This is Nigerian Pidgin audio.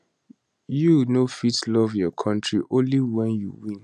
you no fit love your kontri only wen you win